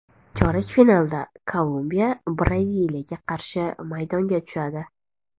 Chorak finalda Kolumbiya Braziliyaga qarshi maydonga tushadi.